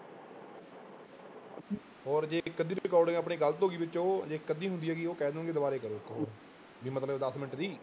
ਹੋਰ ਜੇ ਇੱਕ ਅੱਧੀ recording ਆਪਣੀ ਗ਼ਲਤ ਹੋ ਗਈ ਵਿੱਚੋਂ, ਜੇ ਇੱਕ ਅੱਧੀ ਹੁੰਦੀ ਹੈਗੀ ਉਹ ਕਹਿਣ ਦੇਣਗੇ ਦੁਬਾਰੇ ਕਰੋ ਵੀ ਮਤਲਬ ਦਸ ਮਿੰਟ ਦੀ।